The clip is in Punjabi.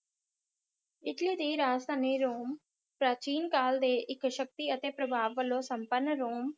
ਇੱਟਲੀ ਦੀ ਰਾਜਧਾਨੀ ਰੋਮ ਪ੍ਰਾਚੀਨਕਾਲ ਦੇ ਇਕ ਸ਼ਕਤੀ ਅਤੇ ਪ੍ਰਭਾਵ ਵਲੋਂ ਸੰਪਨ ਰੋਮ